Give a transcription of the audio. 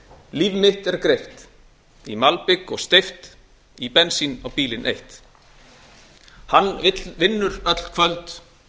líf mitt er greiða í malbik og steypt í bensín á bílinn eytt hann vill vinnur öll kvöld